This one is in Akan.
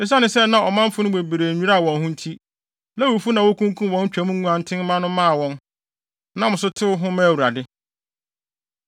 Esiane sɛ na ɔmanfo no mu bebree nnwiraa wɔn ho nti, Lewifo no na wokunkum wɔn Twam nguantenmma no maa wɔn, nam so tew ho maa Awurade.